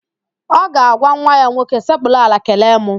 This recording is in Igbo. Ọ ga-agwa nwa ya nwoke, sekpuru ala kelee mụ!